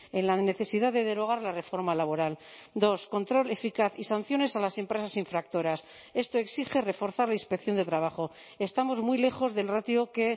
en la necesidad de derogar la reforma laboral dos control eficaz y sanciones a las empresas infractoras esto exige reforzar la inspección de trabajo estamos muy lejos del ratio que